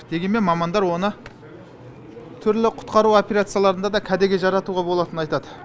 дегенмен мамандар оны түрлі құтқару операцияларында да кәдеге жаратуға болатынын айтады